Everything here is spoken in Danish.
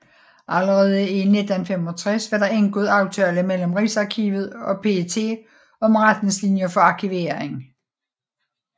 Allerede i 1965 var der indgået aftale mellem Rigsarkivet og PET om retningslinjer for arkivering